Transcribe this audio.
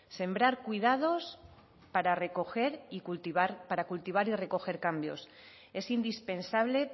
sembrar cuidados para recoger y cultivar para cultivar y recoger cambios es indispensable